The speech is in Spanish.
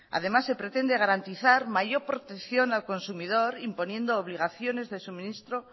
además se pretende garantizar mayor protección al consumidor imponiendo obligaciones de suministro